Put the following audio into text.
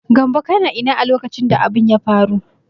Gambo kana ina a lokacin da abin ya faru?